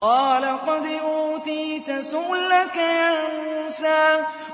قَالَ قَدْ أُوتِيتَ سُؤْلَكَ يَا مُوسَىٰ